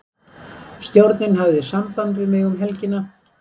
Stjórnin hafði samband við mig um helgina.